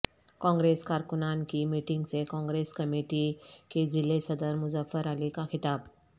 کانگریس کارکنان کی میٹنگ سے کانگریس کمیٹی کے ضلع صدر مظفر علی کا خطاب